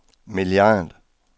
milliard